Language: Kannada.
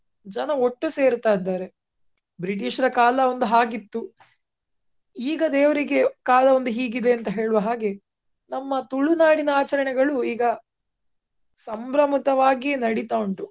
ಜನ ಒಟ್ಟು ಸೇರ್ತ ಇದ್ದಾರೆ. ಬ್ರಿಟಿಷರ ಕಾಲ ಒಂದು ಹಾಗಿತ್ತು ಈಗ ದೇವ್ರಿಗೆ ಕಾಲ ಒಂದು ಹೀಗ್ ಇದೆ ಹೇಳುವ ಹಾಗೆ ನಮ್ಮ ತುಳುನಾಡಿನ ಆಚರಣೆಗಳು ಈಗ ಸಂಭ್ರಮಿತವಾಗಿಯೇ ನಡೀತಾ ಉಂಟು.